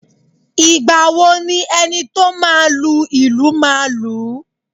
Ìgbà wo ni enito máa lu ìlù máa lu ú?